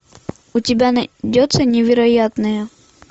у тебя найдется невероятная